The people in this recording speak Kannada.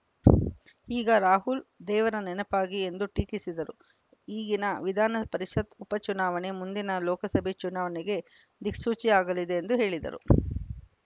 ಈಗ ರಾಹುಲ್‌ ದೇವರ ನೆನಪಾಗಿ ಎಂದು ಟೀಕಿಸಿದರು ಈಗಿನ ವಿಧಾನ ಪರಿಷತ್‌ ಉಪ ಚುನಾವಣೆ ಮುಂದಿನ ಲೋಕಸಭೆ ಚುನಾವಣೆಗೆ ದಿಕ್ಸೂಚಿಯಾಗಲಿದೆ ಎಂದು ಹೇಳಿದರು